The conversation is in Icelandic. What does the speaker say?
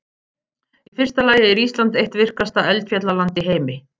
Í fyrsta lagi er Ísland eitt virkasta eldfjallaland í heimi.